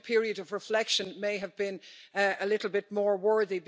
I think a period of reflection may have been a little bit more worthy.